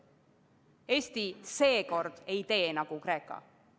Eesti seekord ei tee nagu Kreeka.